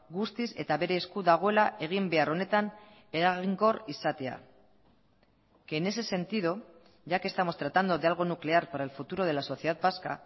guztiz eta bere esku dagoela egin behar honetan eraginkor izatea que en ese sentido ya que estamos tratando de algo nuclear para el futuro de la sociedad vasca